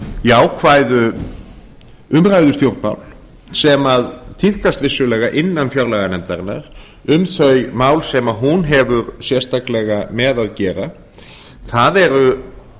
jákvæðu umræðustjórnmál sem tíðkast vissulega innan fjárlaganefndarinnar um þau mál sem hún hefur sérstaklega með að gera það